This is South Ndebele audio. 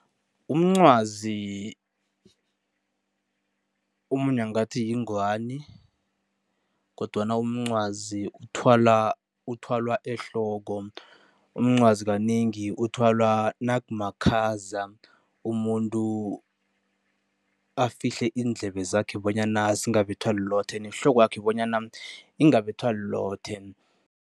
Umncwazi omunye angathi yingwani kodwana umncwazi uthwala uthwalwa ehloko. Umncwazi kanengi uthwalwa nakumakhaza, umuntu afihle iindlebe zakhe bonyana zingabethwa lilothe nehlokwakhe bonyana ingabethwa lilothe.